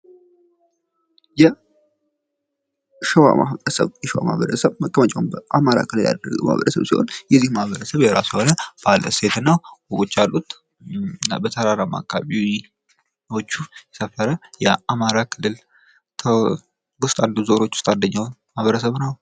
የሸዋ ማህበረሰብ ፦ የሸዋ ማህበረሰብ መቀመጫውን በአማራ ክልል ያደረገ ማህበረሰብ ሲሆን የዚህም ማህበረሰብ የራሱ የሆነ ባህል ፣ እሴትና ወጎች አሉት ። እና በተራራማ አካባቢዎች የሰፈረ የአማራ ክልል ውስጥ አንዱ ዞኖች ውስጥ አንዱ ማህበረሰብ ነው ።